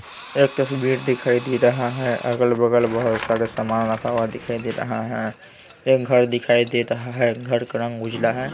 एक तस्वीर दिखाई दे रहा है अगल-बगल बहुत सारे सामान रखा हुआ दिखाई दे रहा है एक घर दिखाई दे रहा है घर का रंग उजला है।